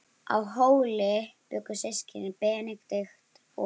Á Hóli bjuggu systkinin Benedikt og